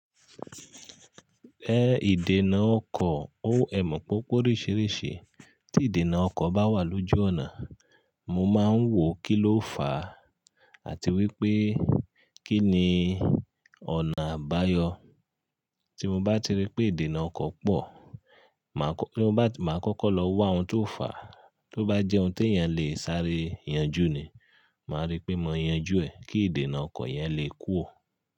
Ẹ ìdènà ọkọ̀ ó è mọ̀ pópó oríṣìíríṣìí, tí ìdènà ọkọ̀ bá wà lójú ọ̀nà, mo máa ń wò kí ló fàá àti wípé kí ni ọ̀nà àbáyọ. Tí mo bá ti rí pé ìdènà ọkọ̀ pọ̀, màá kọ́kọ́ lọ wá ohun tó fàá, tó bá jẹ́ ohun tí èèyàn lè sáré yanjú ni, màá rí pé mo yanjú ẹ̀ kí ìdènà ọkọ̀ yẹn lè kúrò.